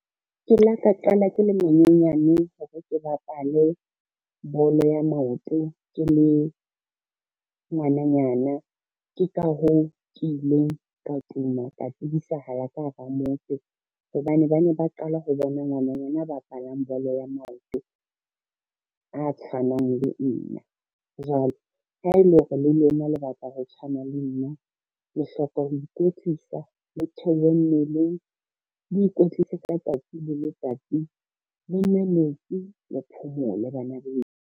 Ke la ka qala ke le monyenyane hore ke bapale bolo ya maoto ke le ngwananyana, ke ka hoo ke ileng ka tuma ka tsebisahala ka hara motse hobane ba ne ba qala ho bona ngwananyana a bapalang bolo ya maoto a tshwanang le nna. Jwale ha e le hore le lona lebatla ho tshwana le nna, le hloka ho ikwetlisa, le theohe mmeleng, le ikwetlise ka tsatsi le letsatsi, le nwe metsi, le phomole bana beso.